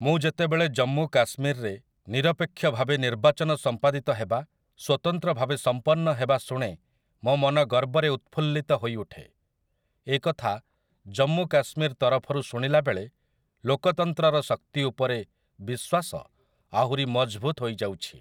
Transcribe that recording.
ମୁଁ ଯେତେବେଳେ ଜମ୍ମୁ କାଶ୍ମୀରରେ ନିରପେକ୍ଷ ଭାବେ ନିର୍ବାଚନ ସଂପାଦିତ ହେବା, ସ୍ୱତନ୍ତ୍ର ଭାବେ ସଂପନ୍ନ ହେବା ଶୁଣେ ମୋ ମନ ଗର୍ବରେ ଉତଫୁଲ୍ଲିତ ହୋଇଉଠେ । ଏ କଥା ଜମ୍ମୁ କାଶ୍ମୀର ତରଫରୁ ଶୁଣିଲାବେଳେ ଲୋକତନ୍ତ୍ରର ଶକ୍ତି ଉପରେ ବିଶ୍ୱାସ ଆହୁରି ମଜଭୁତ ହୋଇଯାଉଛି ।